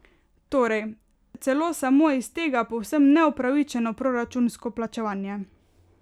Torej, celo samo iz tega povsem neupravičeno proračunsko plačevanje.